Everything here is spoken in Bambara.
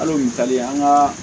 Hal'u talen an ka